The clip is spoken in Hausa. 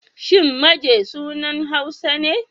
Shin Maje sunan Hausa ne?